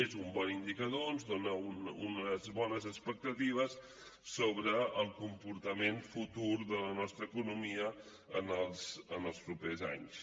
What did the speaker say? és un bon indicador ens dona unes bones expectatives sobre el comportament futur de la nostra economia en els propers anys